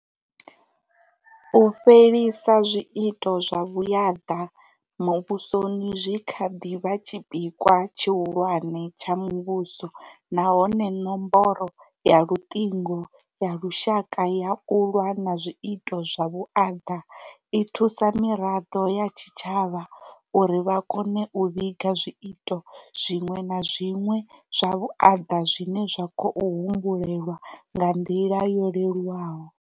U fhelisa zwiito zwa vhuaḓa muvhusoni zwi kha ḓi vha tshipikwa tshihulwane tsha muvhuso na hone nomboro ya Luṱingo ya Lushaka ya u Lwa na zwiito zwa vhuaḓa i thusa miraḓo ya tshitshavha uri vha kone u vhiga zwiito zwiṅwe na zwiṅwe zwa vhuaḓa zwine zwa khou humbulelwa nga nḓila yo lelu waho.